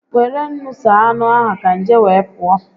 Were ńnú saa anụ ka nje wee pụọ